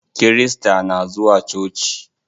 Kirista na zuwa coci.